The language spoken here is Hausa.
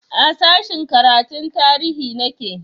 A sashen karatun tarihi nake